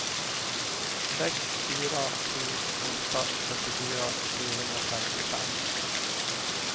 sex fyra sju åtta fyrtiofyra trehundrafemtiofem